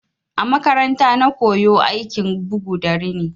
A makaranta na koyo aikin bugu da rini.